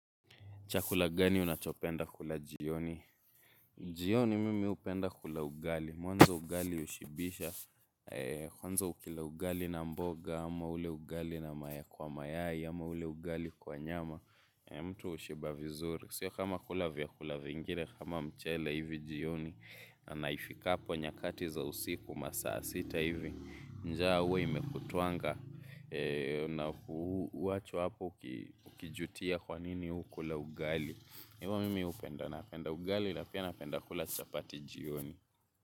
Chakula gani unachopenda kula jioni? Jioni mimi hupenda kula ugali. Mwanzo ugali hushibisha. Kwanza ukila ugali na mboga, ama ule ugali na mayai kwa mayai, ama ule ugali kwa nyama. Mtu hushiba vizuri. Sio kama kula vyakula vingine kama mchele hivi jioni. Na naifikapo nyakati za usiku masaa sita hivi, njaa huwa imekutwanga. Na huwachwa hapo ukijutia kwa nini hukula ugali. Hivo mimi hupenda napenda ugali na pia napenda kula chapati jioni.